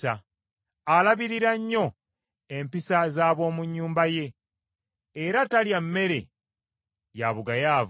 Alabirira nnyo empisa z’ab’omu nnyumba ye, era talya mmere ya bugayaavu.